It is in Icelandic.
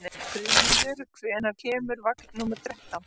Friðmundur, hvenær kemur vagn númer þrettán?